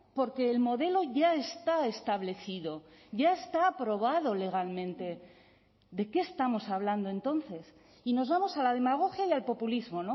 porque el modelo ya está establecido ya está aprobado legalmente de qué estamos hablando entonces y nos vamos a la demagogia y al populismo